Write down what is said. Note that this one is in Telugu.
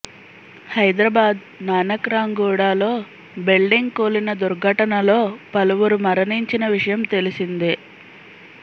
హైదరాబాద్ నానక్ రాంగూడ లో బిల్డింగ్ కూలిన దుర్ఘటనలో పలువురు మరణించిన విషయం తెలిసిందే